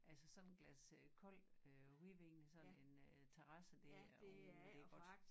Altså sådan et glas øh koldt øh hvidvin og sådan en øh terrasse det er ud det godt